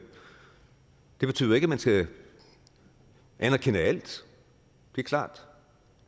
betyder jo ikke at man skal anerkende alt det er klart